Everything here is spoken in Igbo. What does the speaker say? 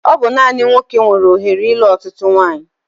Ọ bụ naani nwoke nwere ohere ilu ọtụtụ nwanyi